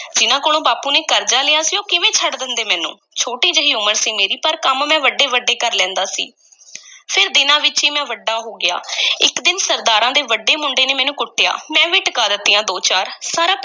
ਜਿਨ੍ਹਾਂ ਕੋਲੋਂ ਬਾਪੂ ਨੇ ਕਰਜ਼ਾ ਲਿਆ ਸੀ, ਉਹ ਕਿਵੇਂ ਛੱਡ ਦੇਂਦੇ ਮੈਨੂੰ, ਛੋਟੀ ਜਿਹੀ ਉਮਰ ਸੀ ਮੇਰੀ, ਪਰ ਕੰਮ ਮੈਂ ਵੱਡੇ-ਵੱਡੇ ਕਰ ਲੈਂਦਾ ਸੀ ਫੇਰ ਦਿਨਾਂ ਵਿੱਚ ਈ ਮੈਂ ਵੱਡਾ ਹੋ ਗਿਆ ਇੱਕ ਦਿਨ ਸਰਦਾਰਾਂ ਦੇ ਵੱਡੇ ਮੁੰਡੇ ਨੇ ਮੈਨੂੰ ਕੁੱਟਿਆ, ਮੈਂ ਵੀ ਟਿਕਾ ਦਿੱਤੀਆਂ ਦੋ-ਚਾਰ, ਸਾਰਾ